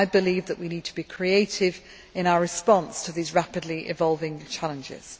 I believe that we need to be creative in our response to these rapidly evolving challenges.